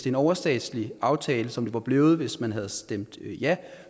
en overstatslig aftale som det var blevet hvis man havde stemt ja